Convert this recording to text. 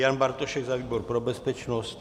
Jan Bartošek za výbor pro bezpečnost?